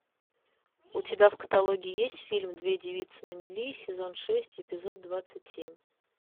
у тебя в каталоге есть фильм две девицы на мели сезон шесть эпизод двадцать семь